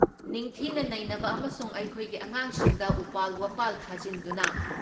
ꯅꯤꯡꯊꯤꯅ ꯅꯩꯅꯕ ꯑꯃꯁꯨꯡ ꯑꯩꯈꯣꯏꯒꯤ ꯑꯉꯥꯡꯁꯤꯡꯗ ꯎꯄꯥꯜ ꯋꯥꯄꯥꯜ ꯊꯥꯖꯤꯟꯗꯨꯅ